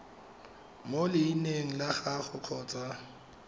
mo leineng la gagwe kgotsa